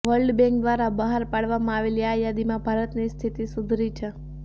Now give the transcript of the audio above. world bank દ્વારા બહાર પાડવામાં આવેલી આ યાદીમાં ભારતની સ્થિતિ સુધરી છે